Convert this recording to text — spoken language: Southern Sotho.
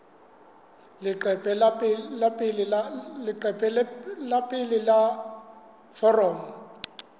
leqephe la pele la foromo